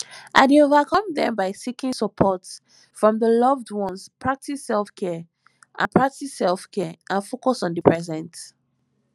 i dey overcome dem by seeking support from di loved ones practice selfcare and practice selfcare and focus on di present